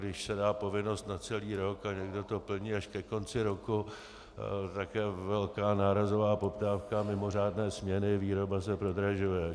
Když se dá povinnost na celý rok a někdo to plní až ke konci roku, tak je velká nárazová poptávka, mimořádné směny, výroba se prodražuje.